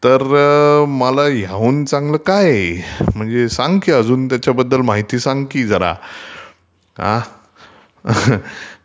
तर मला ह्याहून चांगलं काय आहे..म्ङणजे सांग की त्याच्याबद्दल माहिती सांग की जरा आ.... laugh